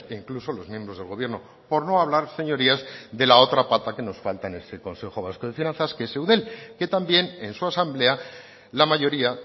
incluso los miembros del gobierno por no hablar señorías de la otra pata que nos falta en ese consejo vasco de finanzas que es eudel que también en su asamblea la mayoría